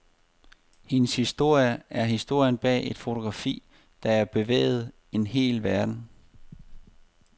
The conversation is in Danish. Hendes historie er historien bag et fotografi, der bevægede en hel verden.